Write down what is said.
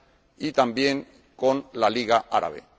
y también con la Liga Árabe.